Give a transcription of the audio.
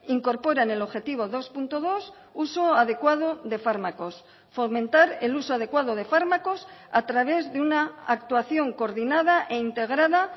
incorporan el objetivo dos punto dos uso adecuado de fármacos fomentar el uso adecuado de fármacos a través de una actuación coordinada e integrada